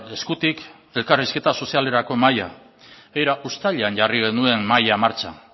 eskutik elkarrizketa sozialerako mahaia uztailean jarri genuen mahaia martxan